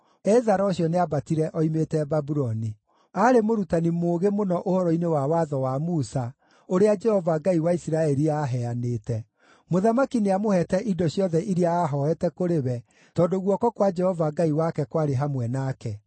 Ezara ũcio nĩambatire oimĩte Babuloni. Aarĩ mũrutani mũũgĩ mũno ũhoro-inĩ wa Watho wa Musa, ũrĩa Jehova Ngai wa Isiraeli aaheanĩte. Mũthamaki nĩamũheete indo ciothe iria aahooete kũrĩ we, tondũ guoko kwa Jehova Ngai wake kwarĩ hamwe nake.